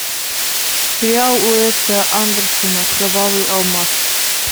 сериал уэса андерсона кровавый алмаз